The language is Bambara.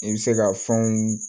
I bɛ se ka fɛnw